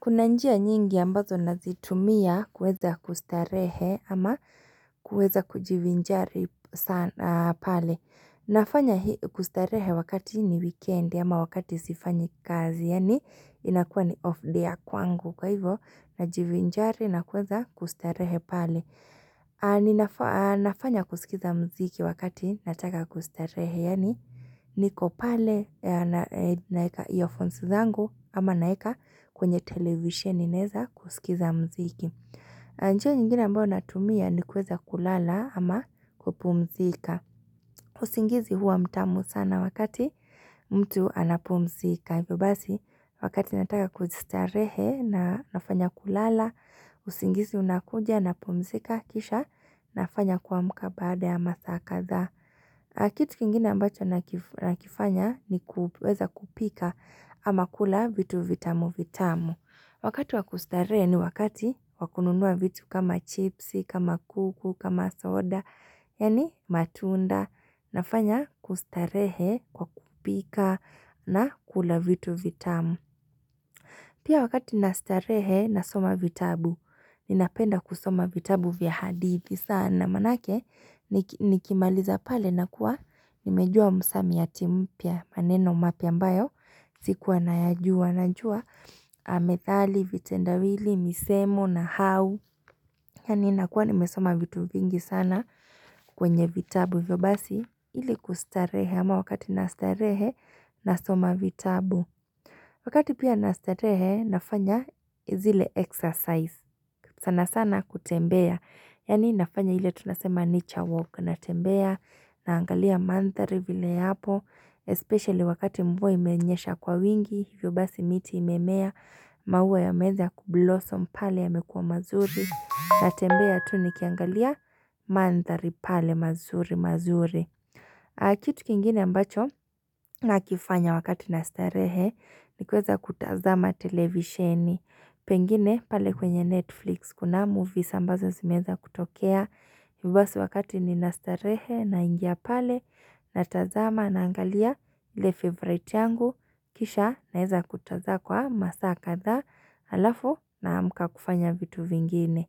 Kuna njia nyingi ambazo nazitumia kuweza kustarehe ama kuweza kujivinjari pali. Nafanya kustarehe wakati ni wikendi ama wakati sifanyi kazi. Yaani inakua ni off-day ya kwangu kwa hivyo najivinjari na kuweza kustarehe pale nafanya kusikiza muziki wakati nataka kustarehe. Yaani niko pale naweka earphones zangu ama naweka kwenye televisheni ninaweza kusikiza muziki. Njia nyingine ambayo natumia ni kuweza kulala ama kupumzika. Usingizi huwa mtamu sana wakati mtu anapumzika. Basi wakati nataka kujistarehe na nafanya kulala. Usingizi unakuja napumzika kisha nafanya kuamka baada ya masaa kadhaa. Kitu kingine ambacho nakifanya ni kuweza kupika ama kula vitu vitamu vitamu. Wakati wakustarehe ni wakati wakununua vitu kama chipsi, kama kuku, kama soda, yani matunda. Nafanya kustarehe kwa kupika na kula vitu vitamu. Pia wakati nastarehe nasoma vitabu, ninapenda kusoma vitabu vya hadithi. Sana maanake nikimaliza pale nakua nimejua msamiati mpya maneno mapya ambayo. Sikuwa nayajua najua methali, vitendawili, misemo nahau. Yaani nakuwa nimesoma vitu vingi sana kwenye vitabu hivyo basi ili kustarehe ama wakati nastarehe nasoma vitabu. Wakati pia nastarehe nafanya zile exercise sana sana kutembea. Yaani nafanya ile tunasema nature walk natembea naangalia mandhari vile yapo Especially wakati mvua imenyesha kwa wingi, hivyo basi miti imemea Mauwa yameanza kublossom pale yamekua mazuri natembea tu nikiangalia mandhari pale mazuri mazuri Kitu kingine ambacho na kifanya wakati nastarehe ni kuweza kutazama televisheni Pengine pale kwenye Netflix, kuna movies ambazo zimeanza kutokea, hivyo basi wakati ninastarehe, naingia pale, natazama naangalia ile favorite yangu, kisha naeza kutazama kwa masaa kadhaa alafu naamka kufanya vitu vingine.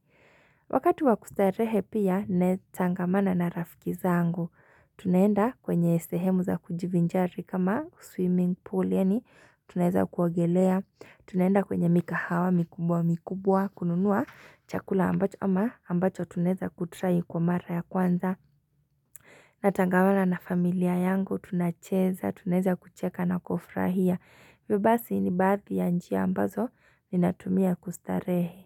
Wakati wakustarehe pia natangamana na rafiki zangu Tunaenda kwenye sehemu za kujivinjari kama swimming pool, yaani tunaweza kuogelea Tunaenda kwenye mikahawa mikubwa mikubwa kununua Chakula ambacho ama ambacho tunaweza kutry kwa mara ya kwanza Natangamana na familia yangu tunacheza tunaweza kucheka na kufrahia hivyo basi ni baadhi ya njia ambazo ninatumia kustarehe.